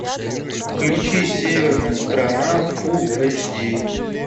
включи северная страна фулл эйч ди